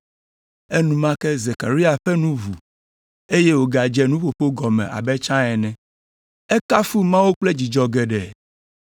Enumake Zekaria ƒe nu ʋu, eye wògadze nuƒoƒo gɔme abe tsã ene. Ekafu Mawu kple dzidzɔ geɖe.